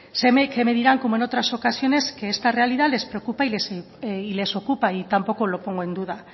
sé que me dirán como en otras ocasiones que esta realidad les preocupa y les ocupa y tampoco lo pongo en duda